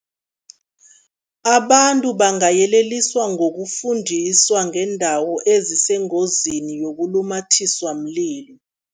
Abantu bangayeleliswa ngokufundiswa ngeendawo ezisengozini yokulumathiswa mlilo.